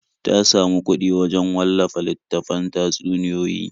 Ta samu kuɗi wajen wallafa littattafan tatsuniyoyi.